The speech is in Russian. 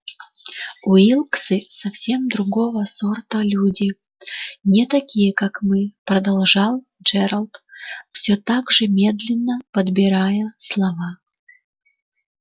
уилксы совсем другого сорта люди не такие как мы продолжал джералд всё так же медленно подбирая слова